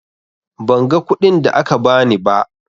Ban ga kuɗin da aka ba ni ba.